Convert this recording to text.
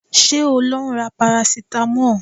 Ṣé o ń lọ ra parasitamọ́ọ̀?